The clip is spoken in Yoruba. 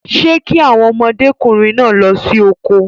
Ṣé kí àwọn ọmọdékùnrin náà lọ sí oko?